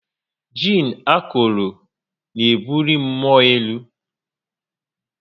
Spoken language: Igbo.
Jiin akọrọ n'ebuli mmụọ elu